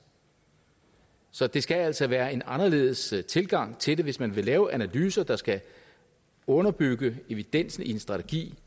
så det skal altså være en anderledes tilgang til det hvis man vil lave analyser der skal underbygge evidensen i en strategi